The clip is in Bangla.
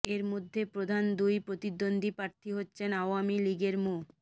এর মধ্যে প্রধান দুই প্রতিদ্বন্দ্বী প্রার্থী হচ্ছেন আওয়ামী লীগের মো